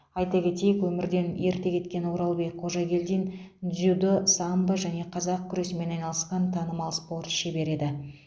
айта кетейік өмірден ерте кеткен оралбек қожагелдин дзюдо самбо және қазақ күресімен айналысқан танымал спорт шебері еді